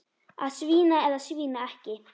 Að svína eða svína ekki.